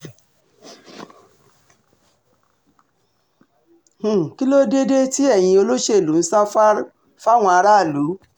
um kí ló dé dé tí ẹ̀yin olóṣèlú ń sá fáwọn aráàlú